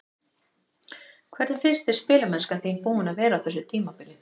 Hvernig finnst þér spilamennskan þín búin að vera á þessu tímabili?